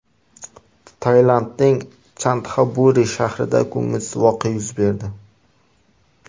Tailandning Chantxaburi shahrida ko‘ngilsiz voqea yuz berdi.